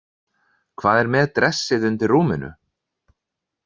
Hvað með dressið undir rúminu?